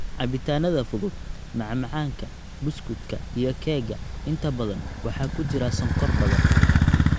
Cabitaanada fudud, macmacaanka, buskudka iyo keega - inta badan waxaa ku jira sonkor badan.